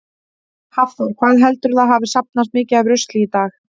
Hafþór: Hvað heldurðu að hafi safnast mikið af rusli í dag?